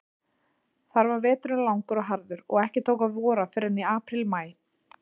Þar var veturinn langur og harður, og ekki tók að vora fyrr en í apríl-maí.